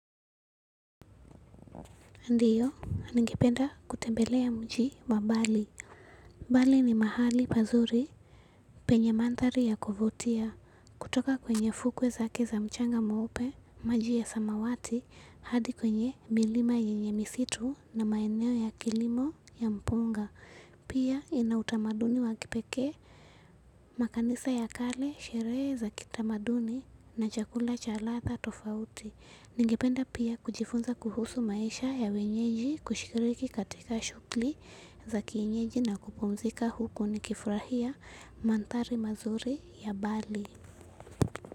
Ndiyo, ningependa kutembelea mji wa bali. Bali ni mahali pazuri, penye mandhari ya kuvutia. Kutoka kwenye fukwe zake za mchanga mweupe, maji ya samawati, hadi kwenye milima yenye misitu na maeneo ya kilimo ya mpunga. Pia ina utamaduni wa kipekee, makanisa ya kale, sherehe za kitamaduni na chakula cha ladha tofauti. Ningependa pia kujifunza kuhusu maisha ya wenyeji kushikiriki katika shughuli za kienyeji na kupumzika huku nikifurahia. Mandhari mazuri ya bali.